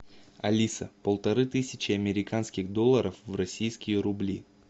алиса полторы тысячи американских долларов в российские рубли